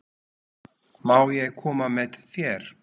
Má ég koma með þér?